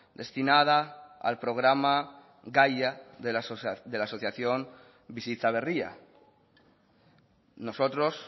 destinada al programa gaia de la asociación bizitza berria nosotros